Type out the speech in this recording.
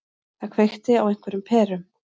Það kveikti á einhverjum perum.